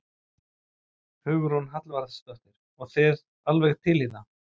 Hugrún Halldórsdóttir: Og þið alveg til í það?